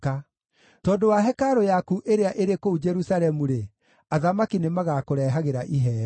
Tondũ wa hekarũ yaku ĩrĩa ĩrĩ kũu Jerusalemu-rĩ, athamaki nĩmagakũrehagĩra iheo.